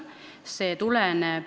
See tuleneb ...